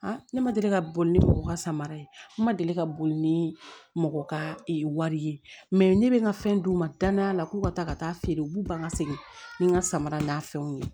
ne ma deli ka boli ni mɔgɔ ka samara ye ne ma deli ka boli ni mɔgɔ ka ee wari ye mɛ ne bɛ n ka fɛn d'u ma danaya k'u ka taa ka taa feere u b'u ban ka segin ni n ka samara n'a fɛnw ye